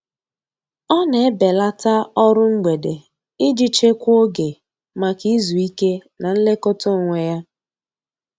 Ọ na-ebelata ọrụ mgbede iji chekwaa oge maka izu ike na nlekọta onwe ya.